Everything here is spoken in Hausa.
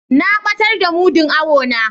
Na batar da mudun awo na.